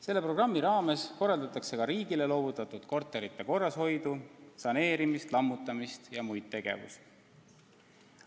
Selle programmi raames korraldatakse ka riigile loovutatud korterite korrashoidu, saneerimist, lammutamist ja muid tegevusi.